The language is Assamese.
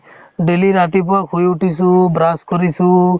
daily ৰাতিপুৱা শুই উঠিছো brush কৰিছো